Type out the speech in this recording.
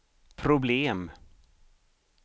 problem